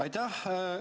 Aitäh!